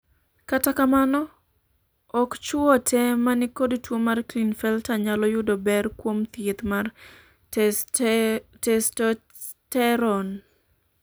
kata kamano, ok chuo te manikod tuo mar Klinefelter nyalo yudo ber kuom thieth mar testosterone